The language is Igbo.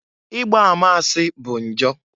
Igba ama asị bu njọ.